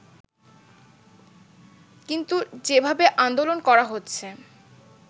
কিন্তু যেভাবে আন্দোলন করা হচ্ছে